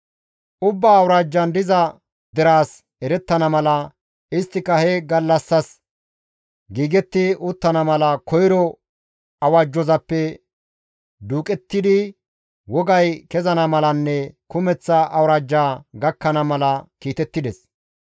Ubbaa awuraajjan diza deraas erettana mala, isttika he gallassas giigetti uttana mala, koyro awajjazappe duuqettidi wogay kezana malanne kumeththa awuraajja gakkana mala kiitettides.